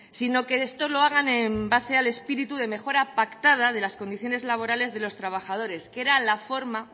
sino que esto lo hagan en base al espíritu de mejora pactada de las condiciones laborales de los trabajadores que era la forma